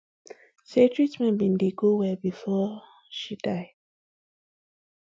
say treatment bin dey go well bifor um she die